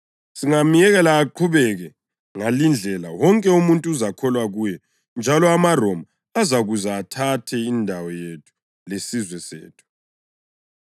Singamyekela aqhubeke ngalindlela, wonke umuntu uzakholwa kuye njalo amaRoma azakuza athathe indawo yethu lesizwe sethu.”